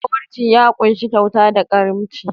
Zawarcin ya ƙunshi kyauta da karimci.